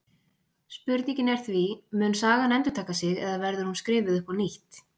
Spurningin er því: Mun sagan endurtaka sig eða verður hún skrifuð upp á nýtt?